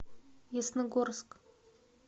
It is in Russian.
ясногорск